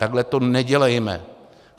Takhle to nedělejme.